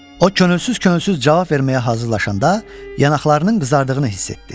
O könülsüz-könülsüz cavab verməyə hazırlaşanda yanaqlarının qızardığını hiss etdi.